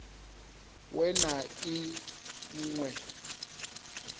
we na i ṅ we